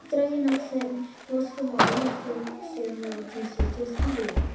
Voru dregin af þeim vosklæðin, færð önnur þurr og síðan látin setjast í rúm.